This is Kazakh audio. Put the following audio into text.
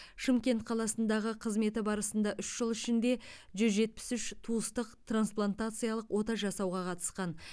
шымкент қаласындағы қызметі барысында үш жыл ішінде жүз жетпіс үш туыстық трансплатациялық ота жасауға қатысқан